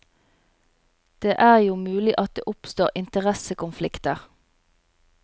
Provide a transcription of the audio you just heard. Det er jo mulig at det oppstår interessekonflikter.